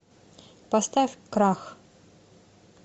поставь крах